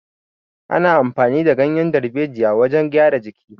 Ana amfani da ganyan darbejiya wajan gyara jiki